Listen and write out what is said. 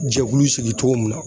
Jɛkulu sigi cogo mun na.